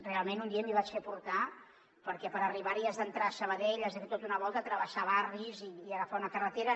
realment un dia m’hi vaig fer portar perquè per arribar hi has d’entrar a sabadell has de fer tota una volta travessar barris i agafar una carretera